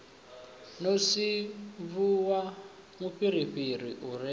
no sinvuwa mufhirifhiri u re